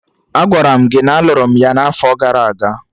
Agwara m gị na a lụrụ m ya na afo gara aga!